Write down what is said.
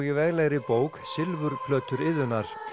í veglegri bók Silfurplötunnar Iðunnar